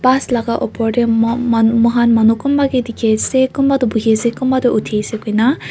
Bus laga opor dae mon manu mokhan manu kunba kae dekhe ase kunba tuh buhi ase kunba tuh uthi ase koina--